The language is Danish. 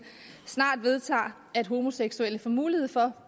snart vedtager at homoseksuelle får mulighed for